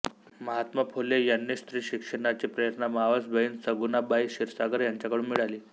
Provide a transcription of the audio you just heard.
महात्मा फुले यांनी स्त्री शिक्षणाची प्रेरणा मावस बहीण सगुणाबाई क्षिरसागर यांच्याकडून मिळाली